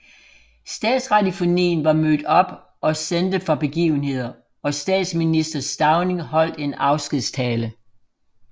Statsradiofonien var mødt op og sendte fra begivenheden og statsminister Stauning holdt en afskedstale